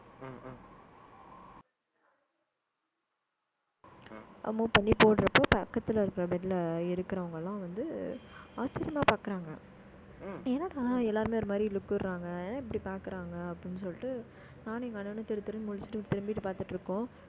amount பண்ணி போடுறப்போ பக்கத்துல இருக்கிற bed ல இருக்கிறவங்க எல்லாம் வந்து, ஆச்சரியமா பார்க்கிறாங்க. என்னம்மா, எல்லாருமே ஒரு மாதிரி look விடுறாங்க, ஏன் இப்படி பாக்குறாங்க அப்படின்னு சொல்லிட்டு, நானும் எங்க அண்ணனும் தெரு தெருன்னு முழிச்சுட்டு திரும்பிட்டு பார்த்துட்டு இருக்கோம்